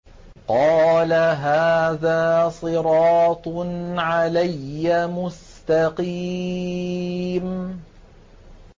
قَالَ هَٰذَا صِرَاطٌ عَلَيَّ مُسْتَقِيمٌ